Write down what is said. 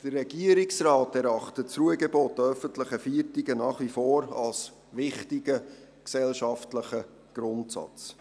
Der Regierungsrat erachtet das Ruhegebot an öffentlichen Feiertagen nach wie vor als wichtigen gesellschaftlichen Grundsatz.